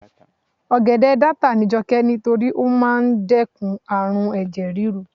ogede data ni joke ni to ri pe o maa n dekun arun eje riru